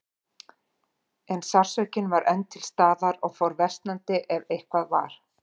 En sársaukinn var enn til staðar og fór versnandi, ef eitthvað var.